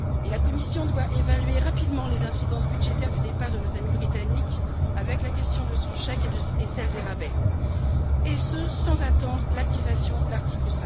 La Commission doit évaluer rapidement les incidences budgétaires du départ de nos amis britanniques, avec la question de son chèque et celle des rabais, et ce sans attendre l'activation de l'article